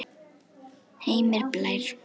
Heimir Blær.